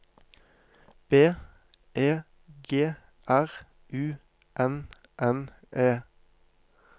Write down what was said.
B E G R U N N E